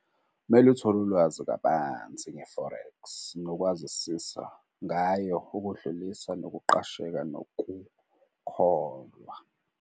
Kumele uthole ulwazi kabanzi nge-forex nokwazisisa ngayo ukudlulisa nokuqasheka nokukholwa.